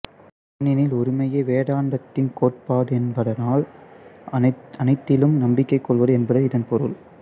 ஏனெனில் ஒருமையே வேதாந்தத்தின் கோட்பாடு என்பதால் அனைத்திலும் நம்பிக்கை கொள்வது என்பது இதன் பொருள்